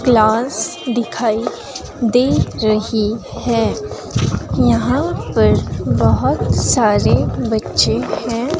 Class दिखाई दे रही है यहां पर बहुत सारे बच्चे है।